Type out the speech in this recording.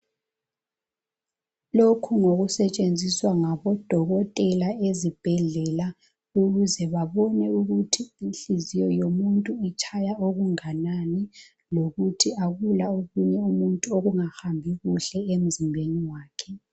Lokhu ngokusetshenziswa ngabo dokotela ezibhedlela ukuze babone ukuthi inhliziyo yomuntu itshaya okunganani lokuthi akula okunye umuntu okungahambi kuhle emzimbeni wakhe.